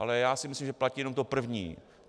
Ale já si myslím, že platí jenom to první.